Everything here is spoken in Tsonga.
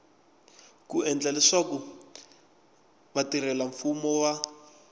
ku endla leswaku vatirhelamfumo va